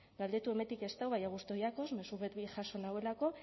galdetu hemendik ez dau baina gusto jakoz mezu bet bi jaso nauelako